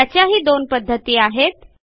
त्याच्याही दोन पध्दती आहेत